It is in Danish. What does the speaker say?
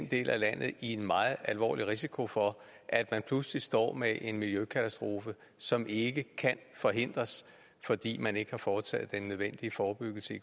del af landet i en meget alvorlig risiko for at man pludselig står med en miljøkatastrofe som ikke kan forhindres fordi man ikke har foretaget den nødvendige forebyggelse i